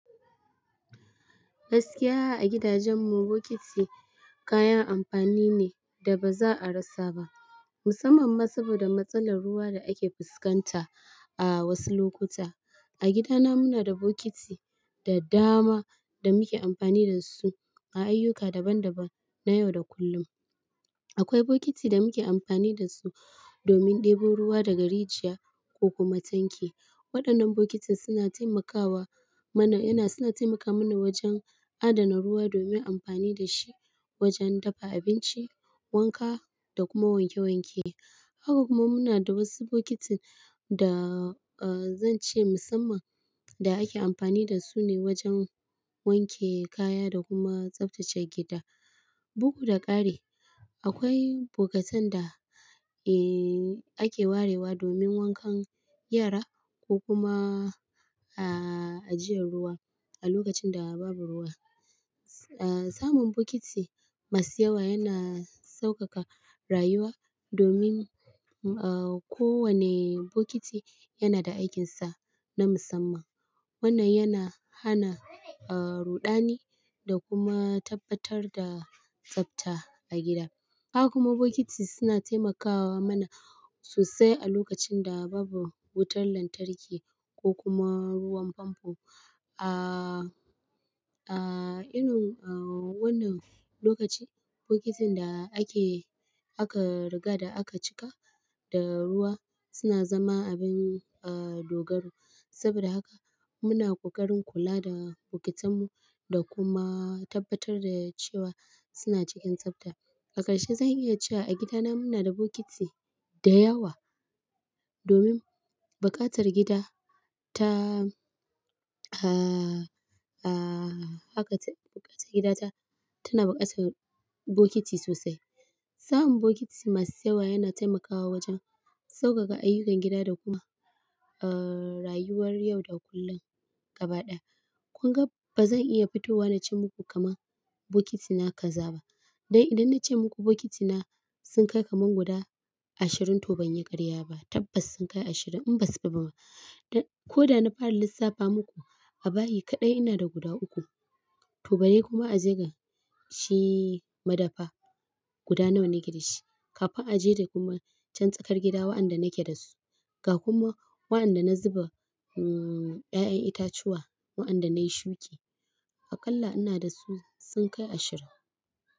Gaskiya a gidajen mu, bokiti kayan amfani ne da ba za a rasa ba, musamman ma saboda matsalar ruwa da ake fuskanta a wasu lokuta. A gida na muna da bokiti da dama da muke amfani da su a ayyuka daban-daban na yau da kullum. Akwai bokiti da muke amfani da su domin ɗebo ruwa daga rijiya ko kuma tanki. Waɗannan bokitin suna taimakawa mana, yana suna taimaka mana wajen adana ruwa domin amfani da shi wajen dafa abinci, wanka da kuma wanke wanke. Haka kuma muna da wasu bokitin da, zan ce musamman da ake amfani da su ne wajen wanke kaya da kuma tsaftace gida. Bugu da ƙari, akwai bokatan da ake warewa domin wankan yara ko kuma ajiyan ruwa a lokacin da babu ruwa. Samun bokiti masu yawa yana sauƙaƙa rayuwa domin kowane bokiti yana da aikinsa na musamman. Wannan yana hana ruɗani da kuma tabbatar da tsafta a gida. Haka kuma bokiti suna taimakawa mana sosai a lokacin da babu wutar lantarki ko kuma ruwan famfo. Irin wannan lokaci, bokitin da ake, aka riga da aka cika da ruwa suna zama abin dogaro. Saboda haka muna ƙoƙarin kula da bokitan mu da kuma tabbatar da cewa suna cikin tsafta. A ƙarshe zan iya cewa a gida na muna da bokiti da yawa domin buƙatar gida ta haka ta buƙatar gida ta, tana buƙatar bokiti sosai. Samun bokiti masu yawa yana taimakawa wajen sauƙaƙa ayyukan gida da kuma rayuwar yau da kullun gaba ɗaya. Kun ga ba zan iya fitowa na ce muku kaman bokitina kaza ba. Dan idan na ce muku bokitina sun kai kaman guda ashirin to ban yi karya ba. Tabbas sun kai ashirin in ba su fi ba ma. Dan ko da na fara lissafa muku a bayi kaɗai ina da guda uku. To bare kuma aje ga shi madafa guda nawa nake da shi. Kafain aje da kuma can tsakar gida waɗanda nake da su. Ga kuma waɗanda na zuba ƴaƴan itatuwa waɗanda na yi shuki. Aƙalla ina da su sun kai ashirin.